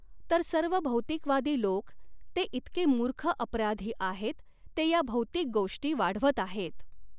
तर सर्व भौतिकवादी लोक ते इतके मूर्ख अपराधी आहेत ते या भौतिक गोष्टी वाढवत आहेत.